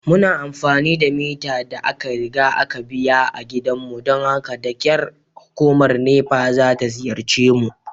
Muna amfani da mita da aka riga aka biya a gidanmu don haka da kyar hukumar NEPA ta ziyarce mu.